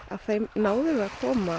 náðum við að koma